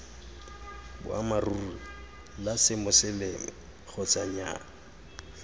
boammaaruri la semoseleme kgotsa nnyaa